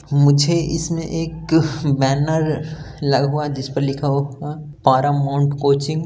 मुझे इसमें एक बैनर लगा हुआ है जिस पर लिखा हुआ है पारामाउंट कोचिंग ।